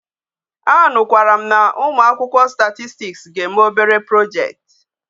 A nu kwara m na umuakwukwo statistics ga eme obere project